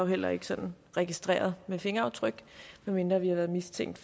heller ikke sådan registreret med fingeraftryk medmindre vi har været mistænkt